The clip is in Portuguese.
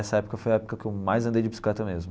Essa época foi a época que eu mais andei de bicicleta mesmo.